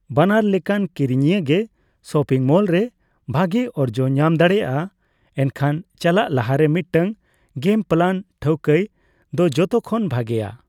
ᱵᱟᱱᱟᱨ ᱞᱮᱠᱟᱱ ᱠᱤᱨᱤᱧᱤᱭᱟᱹ ᱜᱮ ᱥᱚᱯᱤᱝ ᱢᱚᱞᱨᱮ ᱵᱷᱟᱜᱮ ᱚᱨᱡᱚ ᱧᱟᱢ ᱫᱟᱲᱮᱭᱟᱜᱼᱟ, ᱮᱱᱷᱟᱱ ᱪᱟᱞᱟᱜ ᱞᱟᱦᱟᱨᱮ ᱢᱤᱴᱟᱝ ᱜᱮᱢ ᱯᱞᱟᱱ ᱴᱷᱟᱹᱣᱠᱟᱹᱭ ᱫᱚ ᱡᱚᱛᱚ ᱠᱷᱚᱱ ᱵᱷᱟᱜᱮᱭᱟ ᱾